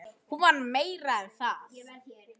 Hún var meira en það.